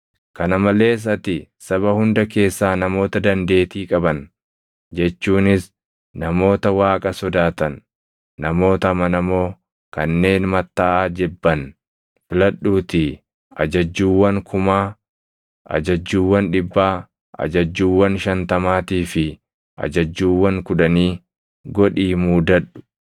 Kana malees ati saba hunda keessaa namoota dandeetii qaban jechuunis, namoota Waaqa sodaatan, namoota amanamoo kanneen mattaʼaa jibban filadhuutii ajajjuuwwan kumaa, ajajjuuwwan dhibbaa, ajajjuuwwan shantamaatii fi ajajjuuwwan kudhanii godhii muudadhu.